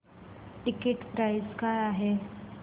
ticket price काय आहे